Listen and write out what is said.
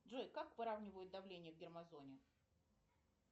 джой как выравнивают давление в термозоне